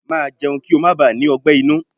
Màá jẹun kí ó má baà ní ọgbẹ́ inú!